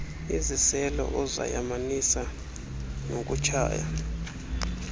iziselo ozayamanisa nokutshaya